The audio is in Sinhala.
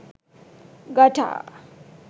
gta